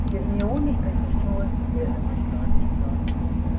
гермиона протиснулась следом